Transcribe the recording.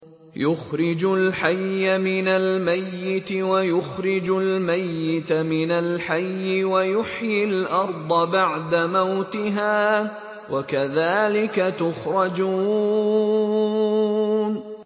يُخْرِجُ الْحَيَّ مِنَ الْمَيِّتِ وَيُخْرِجُ الْمَيِّتَ مِنَ الْحَيِّ وَيُحْيِي الْأَرْضَ بَعْدَ مَوْتِهَا ۚ وَكَذَٰلِكَ تُخْرَجُونَ